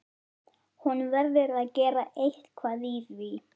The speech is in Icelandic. Hann er um áttrætt, fimm árum eldri en amma.